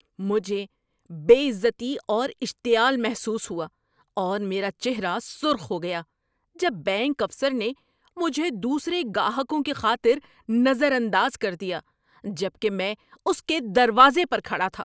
‏مجھے بے عزتی اور اشتعال محسوس ہوا اور میرا چہرہ سرخ ہو گیا جب بینک افسر نے مجھے دوسرے گاہکوں کی خاطر نظر انداز کر دیا جبکہ میں اس کے دروازے پر کھڑا تھا۔